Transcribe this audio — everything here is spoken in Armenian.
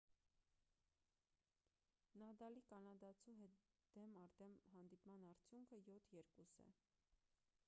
նադալի կանադացու հետ դեմ առ դեմ հանդիպման արդյունքը 7 - 2 է